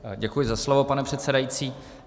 Děkuji za slovo, pane předsedající.